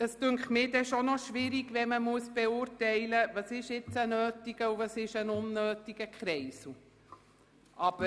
Ich finde es doch schwierig, beurteilen zu müssen, was denn ein nötiger und was ein unnötiger Kreisel ist.